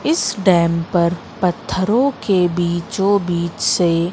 इस डैम पर पत्थरों के बीचों बीच से--